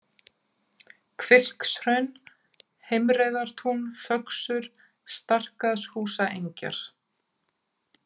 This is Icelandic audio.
Hvilkshraun, Heimreiðartún, Föxur, Starkaðshúsaengjar